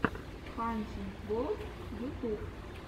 хантинг ворлд ютуб